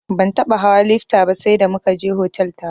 Ban taɓa hawa lifta ba sai da muka je otal taro.